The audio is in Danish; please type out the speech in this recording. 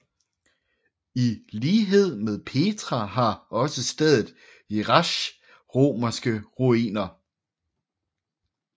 I lighed med Petra har også stedet Jerash romerske ruiner